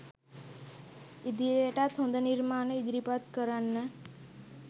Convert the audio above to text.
ඉදිරියටත් හොද නිර්මාණ ඉදිරිපත් කරන්න